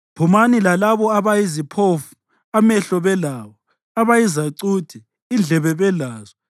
Phumani lalabo abayiziphofu amehlo belawo, abayizacuthe indlebe belazo.